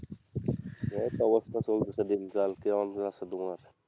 এই তো অবস্থা চলতেছে দিনকাল কেমন যাচ্ছে তোমার?